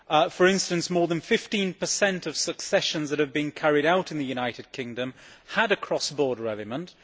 For instance, more than 15 of successions that have been carried out in the United Kingdom had a cross border element